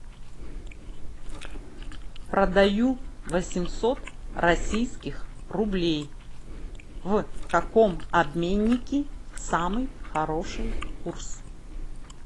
продаю восемьсот российских рублей в каком обменнике самый хороший курс